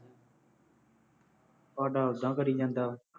ਸਾਡਾ ਉਦਾਂ ਕਰੀ ਜਾਂਦਾ